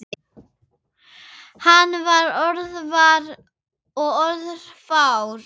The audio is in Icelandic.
Hann var orðvar og orðfár.